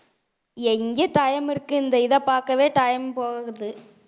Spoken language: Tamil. எங்க time இருக்கு இந்த இத பார்க்கவே time போகுது